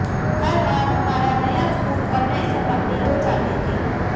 हर बार हमारा नया स्कूल और नए सहपाठी हो जाते थे